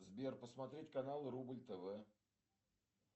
сбер посмотреть канал рубль тв